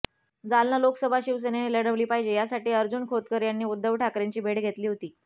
जालना लोकसभा शिवसेनेने लढवली पाहिजे यासाठी अर्जुन खोतकर यांनी उद्धव ठाकरेंची भेट घेतली होती